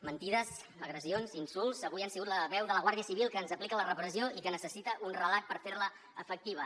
mentides agressions insults avui han sigut la veu de la guàrdia civil que ens aplica la repressió i que necessita un relat per fer la efectiva